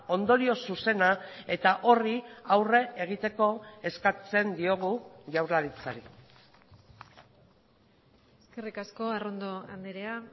ondorio zuzena eta horri aurre egiteko eskatzen diogu jaurlaritzari eskerrik asko arrondo andrea